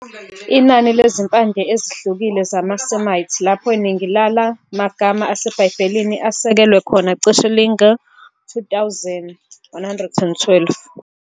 Inani lezimpande ezihlukile zamaSemite, lapho iningi lala magama aseBhayibhelini asekelwe khona, cishe linga-2000.. 112